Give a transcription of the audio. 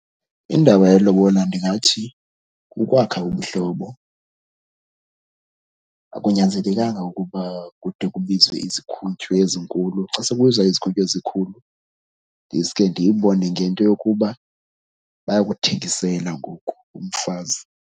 Indaba yelobola ndingathi kukwakha ubuhlobo. Akunyanzelekanga ukuba kude kubizwe izikhuntyu ezinkulu. Xa sekubizwa izikhuntyu ezinkulu ndiske ndiyibone ngento yokuba bayakuthengisela ngoku umfazi.